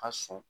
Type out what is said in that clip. A sɔn